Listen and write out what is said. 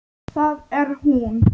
Það er hún.